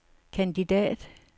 kandidat